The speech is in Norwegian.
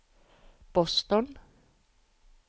Boston